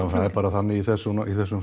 það er bara þannig í þessum í þessum